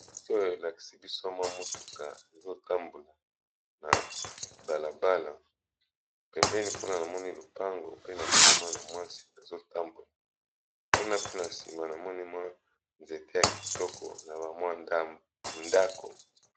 Moto oyo elakisi biso mwa mutuka ezotambola na balabala pembeni kuna na moni lupango pe na moni mwa na mwasi ezotambola kuna pe na nsima na moni mwa nzete ya kitoko na bamwa ndako.